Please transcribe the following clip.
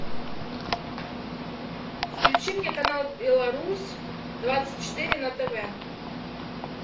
включи мне канал беларусь двадцать четыре на тв